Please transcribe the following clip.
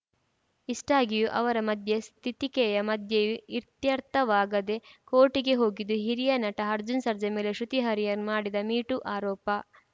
ಇಷ್ಟಾಗಿಯೂ ಅವರ ಮಧ್ಯಸ್ಥಿತಿಕೆಯ ಮಧ್ಯೆಯೂ ಇತ್ಯರ್ಥವಾಗದೆ ಕೋರ್ಟ್‌ಗೆ ಹೋಗಿದ್ದು ಹಿರಿಯ ನಟ ಅರ್ಜುನ್‌ ಸರ್ಜಾ ಮೇಲೆ ಶ್ರುತಿ ಹರಿಹರನ್‌ ಮಾಡಿದ್ದ ಮೀಟೂ ಆರೋಪ